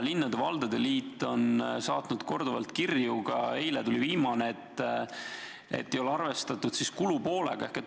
Linnade ja valdade liit on saatnud korduvalt kirju – ka eile tuli üks –, et ei ole arvestatud kulupoolega.